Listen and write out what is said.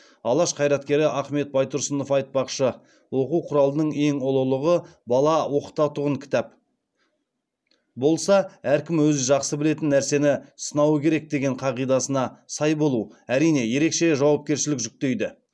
алаш қайраткері ахмет байтұрсынов айтпақшы оқу құралының ең ұлылығы бала оқытатұғын кітап болса әркім өзі жақсы білетін нәрсесін сынауы керек деген қағидасына сай болу әрине ерекше жауапкершілік жүктейді